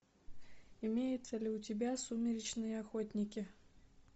имеется ли у тебя сумеречные охотники